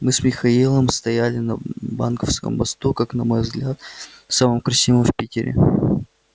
мы с михаилом стояли на банковском мосту как на мой взгляд самом красивом в питере